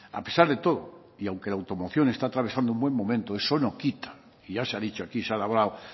a pesar de todo y aunque la automoción está travesando un buen momento eso no quita y ya se ha dicho aquí se ha hablado